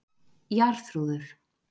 Jarþrúður